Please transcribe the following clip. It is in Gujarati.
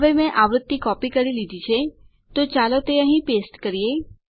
હવે મેં આવૃત્તિ કોપી કરી લીધી છે તો ચાલો તે અહીં પેસ્ટ કરીએ